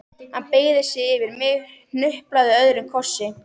Hann beygði sig yfir mig, hnuplaði öðrum kossi.